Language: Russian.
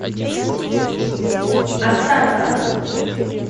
астарта